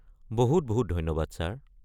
বহুত বহুত ধন্যবাদ ছাৰ।